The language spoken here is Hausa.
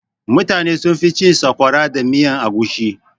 Mutane sunfi cin sakwara da miyan agushi.